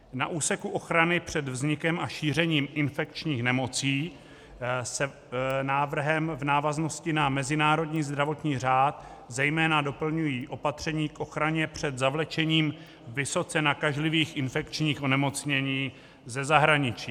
Na úseku ochrany před vznikem a šířením infekčních nemocí se návrhem v návaznosti na mezinárodní zdravotní řád zejména doplňují opatření k ochraně před zavlečením vysoce nakažlivých infekčních onemocnění ze zahraničí.